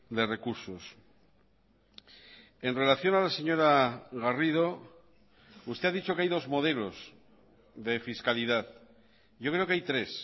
de recursos en relación a la señora garrido usted ha dicho que hay dos modelos de fiscalidad yo creo que hay tres